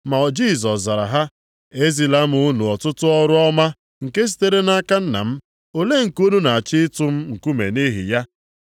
Ma Jisọs zara ha, “E zila m unu ọtụtụ ọrụ ọma nke sitere nʼaka Nna m, olee nke unu na-achọ ịtụ m nkume nʼihi ya?”